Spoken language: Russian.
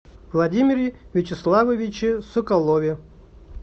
владимире вячеславовиче соколове